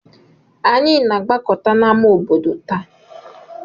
Anyị na-agbakọta n'ámá obodo taa.